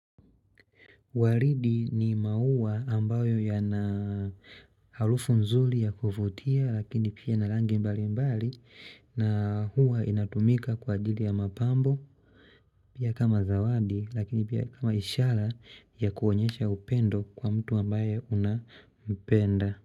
Walidi ni maua ambayo yana alufu nzuli ya kuvutia lakini pia ina langi mbalimbali na huwa inatumika kwa ajili ya mapambo pia kama zawadi lakini pia kama ishara ya kuonyesha upendo kwa mtu ambaye unapenda.